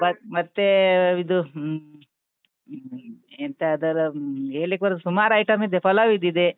ಮತ್ತೇ ಇದು ಹ್ಮ್ ಎಂತ ಅದರ ಹ್ಮ್ ಹೇಳಿಕ್ಕ್ ಬರಲ್ಲ ಸುಮಾರ್ item ಇದೆ, ಪಲಾವ್ ಇದ್ದಿದೆ.